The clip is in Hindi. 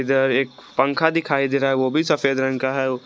इधर एक पंखा दिखाई दे रहा है वो भी सफेद रंग का है।